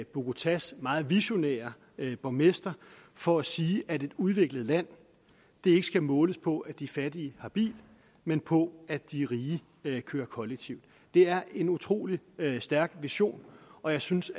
bogotás meget visionære borgmester for at sige at et udviklet land ikke skal måles på at de fattige har bil men på at de rige kører kollektivt det er en utrolig stærk vision og jeg synes